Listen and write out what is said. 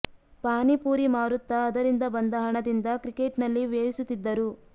ಪಾನಿ ಪೂರಿ ಮಾರುತ್ತಾ ಅದರಿಂದ ಬಂದ ಹಣದಿಂದ ಕ್ರಿಕೆಟ್ ನಲ್ಲಿ ವ್ಯಯಿಸುತ್ತಿದ್ದರು